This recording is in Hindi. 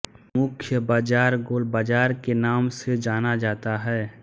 मुख्य बाज़ार गोल बाज़ार के नाम से जना जाता है